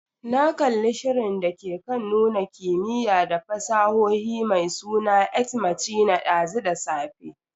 Na kalli shirin dake kan nuna kimiyya da fasahohi mai suna "Ex machina" dazu da safe.